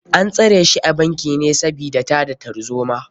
An tsare shi a bankin sabida tada tarzoma.